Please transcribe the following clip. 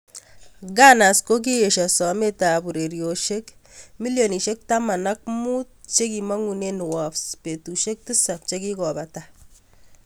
Gunners kokiesio somet ab uroisiek milionisiek taman ak mut che kimagune Wolves betusiek tisap chikikopata.